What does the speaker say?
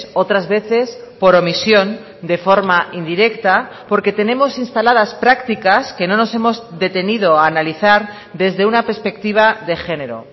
otras veces por omisión de forma indirecta porque tenemos instaladas prácticas que no nos hemos detenido a analizar desde una perspectiva de género